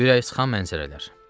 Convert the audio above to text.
Ürəksıxan mənzərələr.